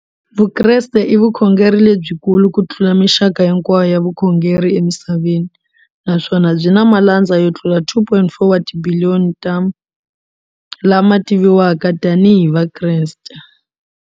Vukreste i vukhongeri lebyikulu kutlula mixaka hinkwayo ya vukhongeri emisaveni, naswona byi na malandza yo tlula 2.4 wa tibiliyoni, ta lama tiviwaka tanihi Vakreste.